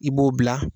I b'o bila